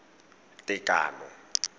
tekano